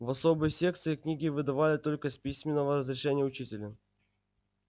в особой секции книги выдавали только с письменного разрешения учителя